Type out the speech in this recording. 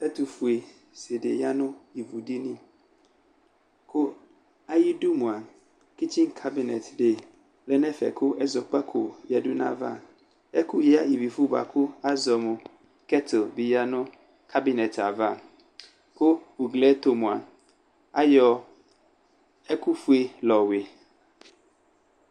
Ɛtʋƒue tsɩ ɖɩ ƴa nʋ ivuɖini; ƙʋ aƴiɖu mʋa, ƙitsinƙanɛtɖe lɛ n'ɛƒɛ ƙʋ ɛzɔƙpaƙo ƴǝɖu n'aƴaavaƐƙʋ ƴǝ iviƒʋ bʋa ƙʋ azɔ nʋ ƙɛt bɩ ƴǝ nʋ abɩnɛt avaUgli ɛtʋ mʋa, aƴɔ eƙʋ ƒue la ƴɔ wɩ